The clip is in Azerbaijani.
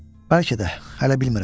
Bəlkə də, hələ bilmirəm.